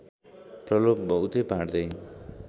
प्रलोभ बहुतै बाँड्दै